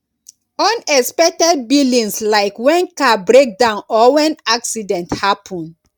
unexpected billings like when car breakdown or when accident happen